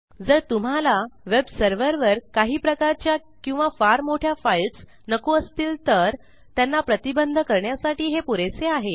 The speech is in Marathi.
जर तुम्हाला वेब सर्व्हरवर काही प्रकारच्या किंवा फार मोठ्या फाईल्स नको असतील तर त्यांना प्रतिबंध करण्यासाठी हे पुरेसे आहे